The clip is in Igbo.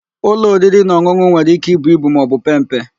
Ụlọ oririnaọn̄ụn̄ụ nwere íké ibu ibu maọbụ pee mpe.